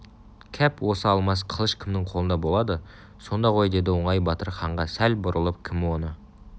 кәп осы алмас қылыш кімнің қолында болады сонда ғой деді оңай батыр ханға сәл бұрылып кім оны